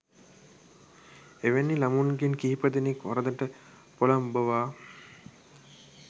එවැනි ළමුන්ගෙන් කිහිපදෙනෙක් වරදට පොළඹවා